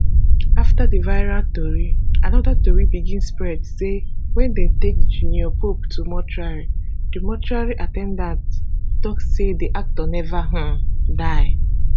afta di viral tori anoda tori begin spread say wen dem take junior pope to mortuary di mortuary at ten dant tok say di actor neva um die